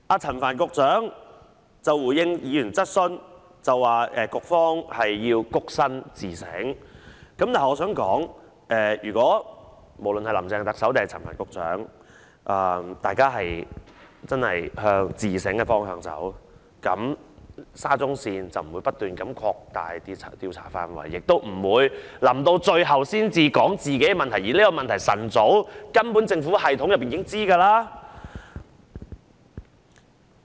陳帆局長剛才回應議員質詢說局方要躬身自省，但我想說，無論是林鄭特首或陳帆局長如果真的向自省的方向走，沙中線這件事便不會不斷擴大調查範圍，亦不會在最後一刻才說出問題，而這個問題根本在政府系統內早已知悉。